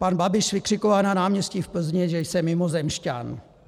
Pan Babiš vykřikoval na náměstí v Plzni, že jsem mimozemšťan.